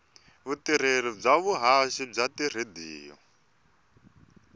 vutirheli bya vuhaxi bya tiradiyo